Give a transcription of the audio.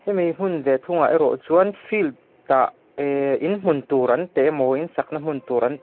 hemi hmun ve thungah erawh chuan field ah eehh inhmun tur an teh emaw in sakna hmun tur an--